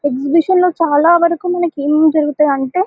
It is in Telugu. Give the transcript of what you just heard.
ఎగ్జిబిషన్లో చాలా వరకు మనకు ఏముంటాయి అంటే --